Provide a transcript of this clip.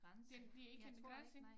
Den der ikke en grænse